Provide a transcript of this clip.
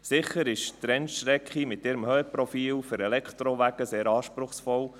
Sicher ist die Rennstrecke mit ihrem Höhenprofil für Elektrowagen sehr anspruchsvoll.